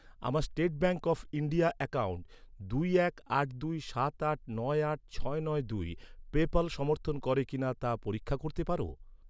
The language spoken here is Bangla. আমার state bank of India account দুই এক আট দুই সাত আট নয় আট ছয় নয় দুই পেপ্যাল সমর্থন করে কিনা তা পরীক্ষা করতে পার?